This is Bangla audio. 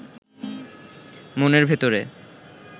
মনের ভেতরে